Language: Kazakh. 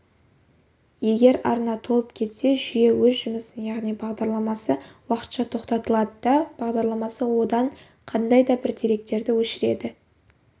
егер арна толып кетсе жүйе өз жұмысын яғни бағдарламасы уақытша тоқтатылады да бағдарламасы одан қандайда бір деректерді өшіреді